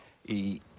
í